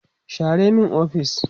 share min ofis!